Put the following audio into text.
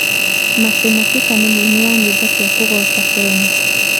Mercy Masika nĩ mũini wa nyĩimbo cĩa kĩgoco Kenya.